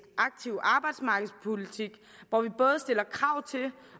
aktiv arbejdsmarkedspolitik hvor vi både stiller krav til